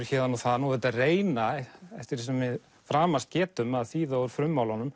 héðan og þaðan og auðvitað reyna eftir því sem við framast getum að þýða úr